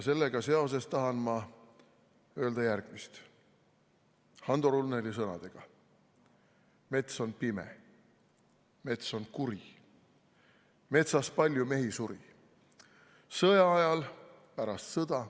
Sellega seoses tahan ma öelda järgmist Hando Runneli sõnadega: "Mets on kõrge, mets on kuri, metsas palju mehi suri sõja ajal, pärast sõda.